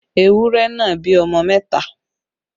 Ewúrẹ́ náà bí ọmọ mẹta